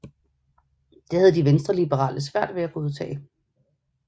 Det havde de venstreliberale svært ved at godtage